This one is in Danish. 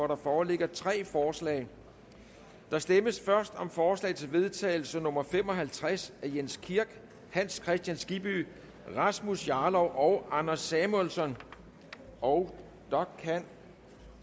der foreligger tre forslag der stemmes først om forslag til vedtagelse nummer v fem og halvtreds af jens kirk hans kristian skibby rasmus jarlov og anders samuelsen og der kan